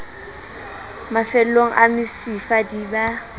mafellong a mesifa di ba